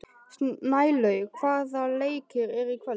Snælaug, hvaða leikir eru í kvöld?